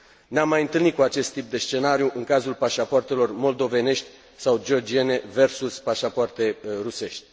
Ne am mai întâlnit cu acest tip de scenariu în cazul pașapoartelor moldovenești sau georgiene versus pașapoarte rusești.